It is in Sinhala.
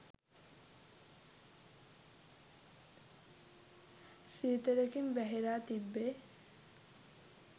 සීතලකින් වැහිලා තිබ්බෙ.